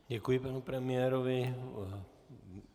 Děkuji panu premiérovi.